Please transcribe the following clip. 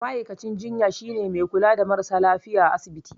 Ma'aikacin jinya shine mai kula da marasa lafiya asibiti